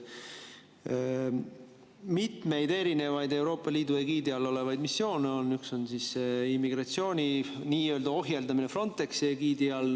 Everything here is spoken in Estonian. Mitmeid Euroopa Liidu egiidi all olevaid missioone on, üks on immigratsiooni nii-öelda ohjeldamine Frontexi egiidi all.